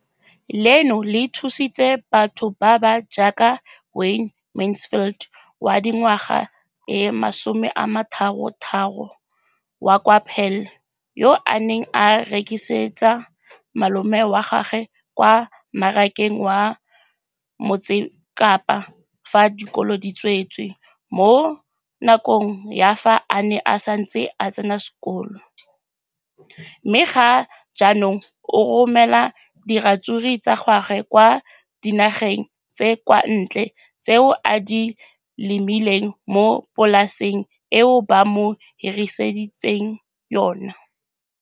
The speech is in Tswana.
Leno le thusitse batho ba ba jaaka Wayne Mansfield, 33, wa kwa Paarl, yo a neng a rekisetsa malomagwe kwa Marakeng wa Motsekapa fa dikolo di tswaletse, mo nakong ya fa a ne a santse a tsena sekolo, mme ga jaanong o romela diratsuru tsa gagwe kwa dinageng tsa kwa ntle tseo a di lemileng mo polaseng eo ba mo hiriseditseng yona.